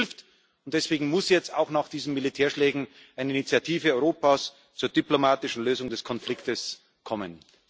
Die EU hilft, und deswegen muss jetzt auch nach diesen Militärschlägen eine Initiative Europas zur diplomatischen Lösung des Konfliktes kommen.